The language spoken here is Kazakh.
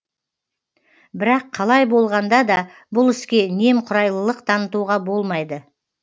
бірақ қалай болғанда да бұл іске немқұрайлылық танытуға болмайды